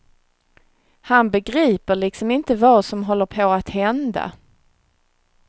Han begriper liksom inte vad som håller på att hända.